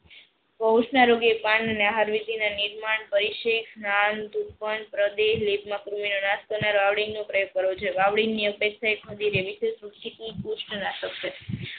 પોસ ના રોગે પાન ને નિહારવિટી ના નિર્માણ પરિસીદ વાવડિંગ પ્રયોગ કરવો જોઇયે. વાવડિંગ અપેક્ષા